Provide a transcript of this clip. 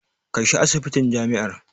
Kai shi asibitin jami'ar.